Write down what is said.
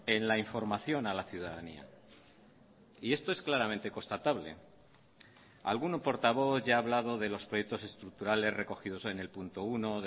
en la información a la ciudadanía y esto es claramente constatable algún portavoz ya ha hablado de los proyectos estructurales recogidos en el punto uno